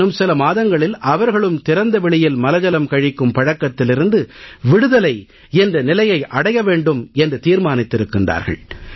இன்னும் சில மாதங்களில் அவர்களும் திறந்த வெளியில் மலஜலம் கழிக்கும் பழக்கத்திலிருந்து விடுதலை என்ற நிலையை அடைய வேண்டும் என்று தீர்மானித்திருக்கிறார்கள்